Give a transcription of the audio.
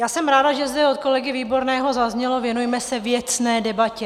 Já jsem ráda, že zde od kolegy Výborného zaznělo - věnujme se věcné debatě.